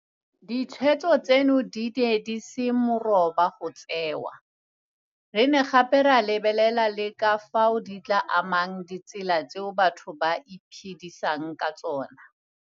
Ditshweetso tseno di ne di se moroba go tseewa, re ne gape ra lebelela le ka fao di tla amang ditsela tseo batho ba iphedisang ka tsona.